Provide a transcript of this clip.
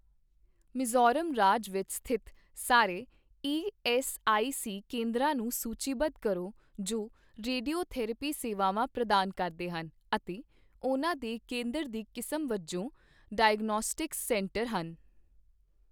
ਮਿਜ਼ੋਰਮ ਰਾਜ ਵਿੱਚ ਸਥਿਤ ਸਾਰੇ ਈਐੱਸਆਈਸੀ ਕੇਂਦਰਾਂ ਨੂੰ ਸੂਚੀਬੱਧ ਕਰੋ ਜੋ ਰੇਡੀਓਥੈਰੇਪੀ ਸੇਵਾਵਾਂ ਪ੍ਰਦਾਨ ਕਰਦੇ ਹਨ ਅਤੇ ਉਹਨਾਂ ਦੇ ਕੇਂਦਰ ਦੀ ਕਿਸਮ ਵਜੋਂ ਡਾਇਗਨੌਸਟਿਕਸ ਸੈਂਟਰ ਹਨ।